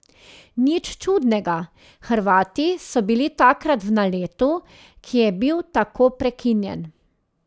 Nič čudnega, Hrvati so bili takrat v naletu, ki je bil tako prekinjen ...